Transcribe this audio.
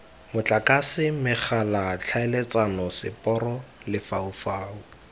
motlakase megala tlhaeletsano seporo lefaufau